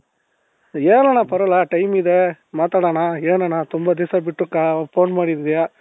ಹೇಳಣ್ಣ ಪರವಾಗಿಲ್ಲ time ಇದೆ ಮಾತಾಡೋಣ ಏನಣ್ಣ ತುoಬಾ ದಿವ್ಸ ಬಿಟ್ಟು ಕಾ phone ಮಾಡಿದ್ಯ .